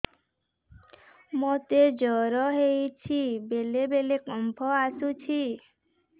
ମୋତେ ଜ୍ୱର ହେଇଚି ବେଳେ ବେଳେ କମ୍ପ ଆସୁଛି